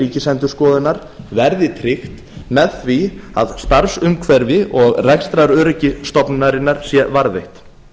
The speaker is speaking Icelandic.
ríkisendurskoðunar verði tryggt með því að starfsumhverfi og rekstraröryggi stofnunarinnar sé varðveitt